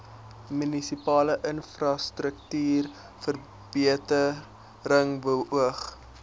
munisipale infrastruktuurverbetering beoog